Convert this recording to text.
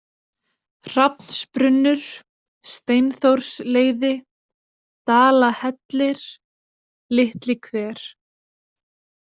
Hrafnsbrunnur, Steinþórsleiði, Dalahellir, Litlihver